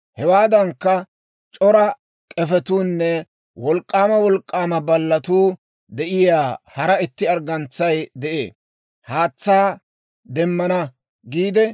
«‹ «Hewaadankka, c'ora k'efetuunne wolk'k'aama wolk'k'aama baalletuu de'iyaa hara itti arggantsay de'ee. Haatsaa demmana giide,